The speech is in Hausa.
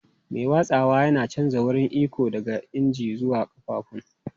Mai watsawa yana canja wurin iko daga injin zuwa ƙafafun.